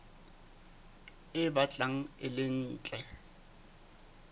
e batlang e le ntle